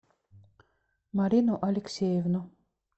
марину алексеевну